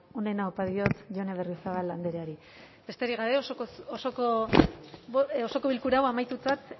onena opa diot jone berriozabal andreari besterik gabe osoko bilkura hau amaitutzat